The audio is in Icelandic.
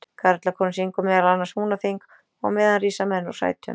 Karlakórinn syngur meðal annars Húnaþing, og á meðan rísa menn úr sætum.